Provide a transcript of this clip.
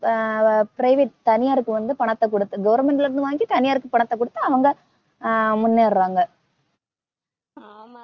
ஆஹ் private தனியார்க்கு வந்து பணத்தை குடுத்து, government ல இருந்து வாங்கி தனியார்க்கு பணத்தை குடுத்து அவங்க முன்னேறறாங்க.